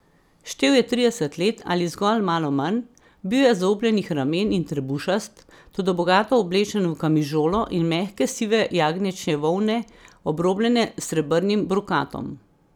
Štel je trideset let ali zgolj malo manj, bil je zaobljenih ramen in trebušast, toda bogato oblečen v kamižolo iz mehke sive jagnječje volne, obrobljene s srebrnim brokatom.